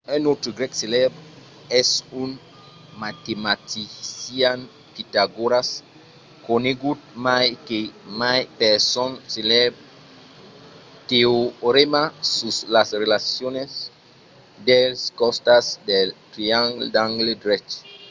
un autre grèc celèbre es un matematician pitagòras conegut mai que mai per son celèbre teorèma sus las relacions dels costats dels triangles d'angle drech